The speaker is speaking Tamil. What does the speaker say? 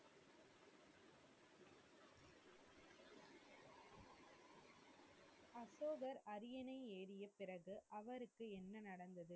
அரியணை ஏறிய பிறகு அவருக்கு என்ன நடந்தது?